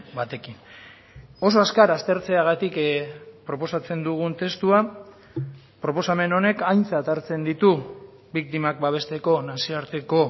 batekin oso azkar aztertzeagatik proposatzen dugun testua proposamen honek aintzat hartzen ditu biktimak babesteko nazioarteko